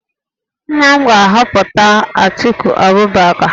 Nna m ga-ahọpụta Atiku Abubakar